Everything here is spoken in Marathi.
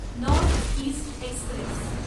north east Express